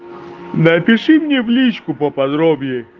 напиши мне в личку по подроблей